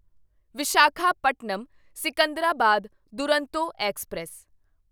Visakhapatnam Secunderabad Duronto express